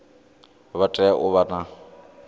vha tea u vha na